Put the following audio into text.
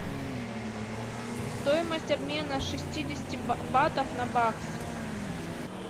стоимость обмена шестидесяти батов на бакс